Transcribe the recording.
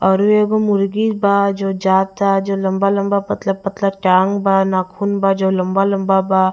औरो एगो मुर्गी बा जो लंबा लंबा पतला पतला टांग बा नाखून बा जे लंबा लंबा बा--